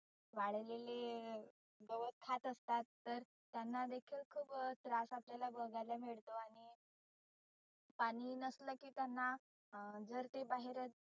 वाळलेले गवत खात असतात तर त्यांना देखील खुप त्रास आपल्याला बघायला मिळतो आणि पाणि नसलं की त्यांना अं जर ते बाहेरच